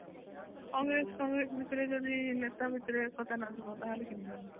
Congress Congress ଭିତରେ ଯଦି ନେତା ଭିତରେ ଏ କଥା ନଥିବ ତା ହେଲେ କେମିତି ହବ